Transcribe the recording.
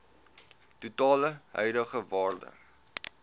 totale huidige waarde